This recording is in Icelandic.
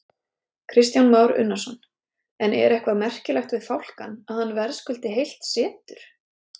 Kristján Már Unnarsson: En er eitthvað merkilegt við fálkann, að hann verðskuldi heilt setur?